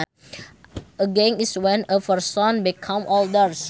Ageing is when a person becomes older